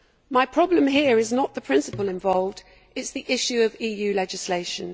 My problem here is not the principle involved, but the issue of EU legislation.